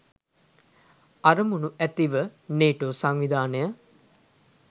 අරමුණ ඇතිව නේටෝ සංවිධානය